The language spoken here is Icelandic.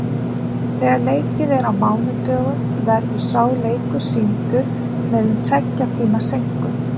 Þegar leikið er á mánudögum verður sá leikur sýndur með um tveggja tíma seinkun.